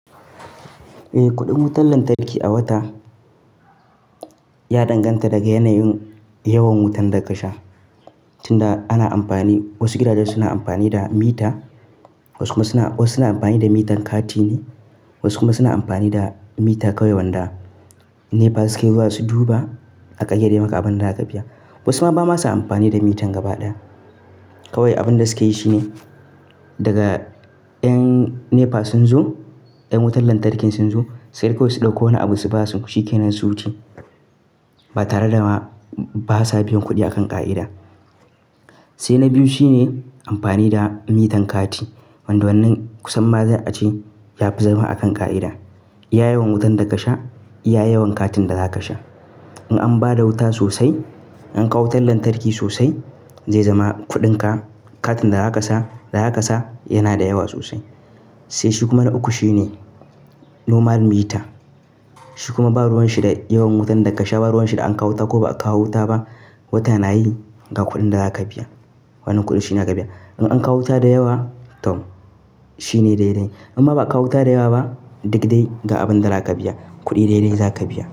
Eh, kuɗin wutar lantarki a wata ya danganta daga yanayin yawan wutan da ka sha, tunda ana amfani wasu gidaje suna amfani da mita, wasu kuma suna wasu suna amfani da mitan kati ne wasu kuma suna amfani da mita kawai wanda NEPA suke zuwa su duba a ƙayyadai maka abin da za ka biya. Wasu ma ba masu amfani da mitan gaba daya. Kawai abin da suke yi shine daga 'yan NEPA sun zo, 'yan wutar lantarkin sun zo sai dai su ɗauko wani abu su ba ku shi kenan su wuce, ba tare da ma ba sa biyan kuɗi akan ƙa'ida. Sai na biyu shine amfani da mitan kati wanda wannan kusan ma za a ce ya fi zama akan ƙa'ida. Iya yawan wutan da ka sha, iya yawan katin da za ka sha. In an ba da wuta sosai, an kawo wutar lantarki sosai zai zama kuɗinka, katin da za ka sa da za ka sa yana da yawa sosai. Sai shi kuma na uku shine normal mita. Shi kuma ba ruwan sha da yawan wutan da ka sha ba ruwan sha da an kawo ta ko ba a kawo wuta ba, wata na yi ga kuɗin da za ka biya. Wani kuɗi shine za ka biya. In an kawo wuta da yawa, tom shine daidai in ma ba a kawo wuta da yawa ba, duk dai ga abin da za ka biya. Kuɗi daidai za ka biya.